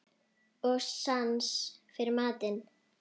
Og sans fyrir mat.